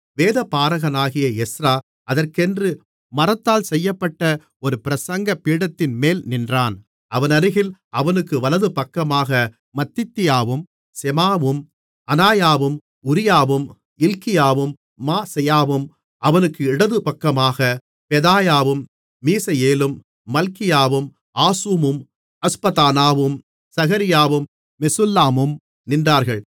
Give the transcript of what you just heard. வேதபாரகனாகிய Ezra அதற்கென்று மரத்தால் செய்யப்பட்ட ஒரு பிரசங்கபீடத்தின்மேல் நின்றான் அவனருகில் அவனுக்கு வலதுபக்கமாக மத்தித்தியாவும் செமாவும் அனாயாவும் உரியாவும் இல்க்கியாவும் மாசெயாவும் அவனுக்கு இடதுபக்கமாகப் பெதாயாவும் மீசயேலும் மல்கியாவும் ஆசூமும் அஸ்பதானாவும் சகரியாவும் மெசுல்லாமும் நின்றார்கள்